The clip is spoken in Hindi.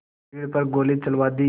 की भीड़ पर गोली चलवा दी